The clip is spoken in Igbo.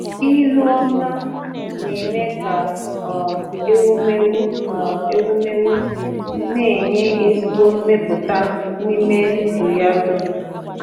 Ịlụ ọma na-eme ka um ewumewụ um ewumewụ na-enye ezigbo mmepụta n’ime ndụ ya dum.